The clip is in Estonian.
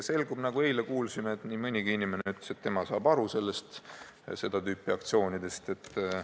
Nagu me eile kuulsime, nii mõnigi inimene ütles, et tema saab seda tüüpi aktsioonidest aru.